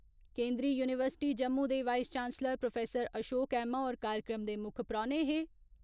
केन्दरी university Jammu दे vice chancellor professor Ashok Aima होर कार्यक्रम दे मुक्ख परौने हे।